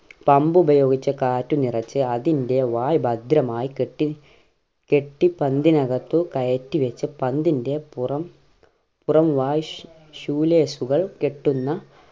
pump ഉപയോഗിച്ച് കാറ്റ് നിറച്ച് അതിൻ്റെ വായ് ഭദ്രമായി കെട്ടി കെട്ടി പന്തിനകത്തു കയറ്റി വെച്ച് പന്തിൻ്റെ പുറം പുറം വാശ് ശൂലേശുകൾ കെട്ടുന്ന